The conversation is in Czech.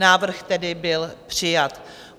Návrh tedy byl přijat.